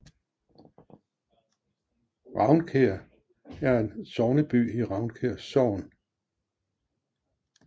Ravnkær er sogneby i Ravnkær Sogn